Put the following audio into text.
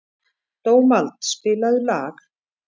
Dómald, spilaðu lag.